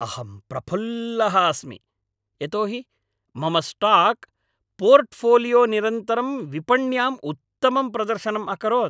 अहं प्रफुल्लः अस्मि यतो हि मम स्टाक् पोर्ट्फ़ोलियो निरन्तरं विपण्याम् उत्तमं प्रदर्शनम् अकरोत्।